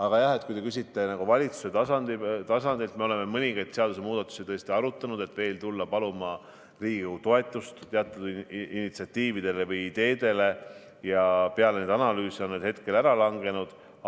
Aga jah, kui te küsite valitsuse tasandilt, siis me oleme mõningaid seadusemuudatusi tõesti arutanud, et tulla paluma veel Riigikogu toetust initsiatiividele või ideedele, ja peale neid analüüse on need ära langenud.